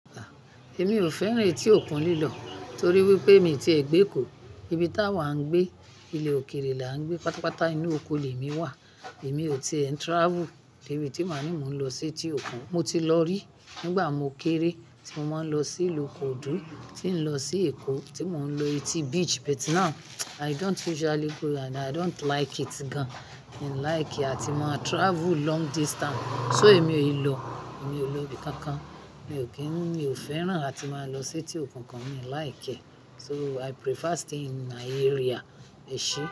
Èmi ò fẹ́ràn etí òkun lílọ̀ torí wípé mi ti ẹ̀ gbé kò. Ibi táa wà á gbé, ilé òkèrè là ń gbé, pátápátá inú oko lè mi wà. Èmi ò ti ẹ ń travel dé ibi tí máa ní mò ń lọ sí etí òkun. Mo ti lọ rí nígbà mo kéré tí mo máa ń lọ sí ìlúkò dúdú, tí ń lọ sí Èkó tí mò ń lọ Eti Beach, but now I don't usually go and I don't like it gan. Mi ò like ẹ́ tí máa travel long distance. So èmi ò è lọ, èmi ò lebi kankan. Mi ò kí n, mi ò fẹ́ràn láti máa lọ sí etí òkun kan, mi ò like ẹ́. So I prefer stay in my area, ẹṣe.